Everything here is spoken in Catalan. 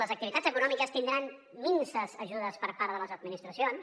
les activitats econòmiques tindran minses ajudes per part de les administracions